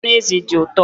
Anụ ezi dị ụtọ